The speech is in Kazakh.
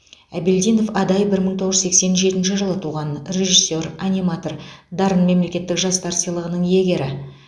әбелдинов адай бір мың тоғыз жүз сексен жетінші жылы туған режиссер аниматор дарын мемлекеттік жастар сыйлығының иегері